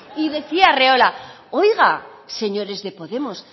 y decía arriola oiga señores de podemos